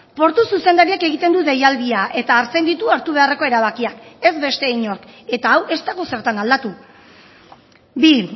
portu zuzendariak egiten du deialdia eta hartzen ditu hartu beharreko erabakiak ez beste inork eta hau ez dago zertan aldatu bi